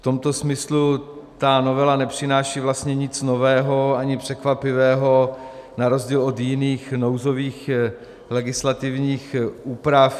V tomto smyslu ta novela nepřináší vlastně nic nového ani překvapivého na rozdíl od jiných nouzových legislativních úprav.